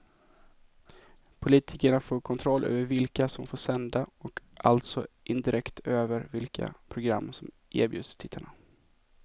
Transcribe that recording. Politikerna får kontroll över vilka som får sända och alltså indirekt över vilka program som erbjuds tittarna.